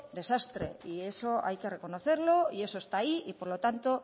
desastre y eso hay que reconocerlo y eso está ahí y por lo tanto